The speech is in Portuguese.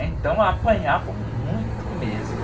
Então, apanhavam muito mesmo.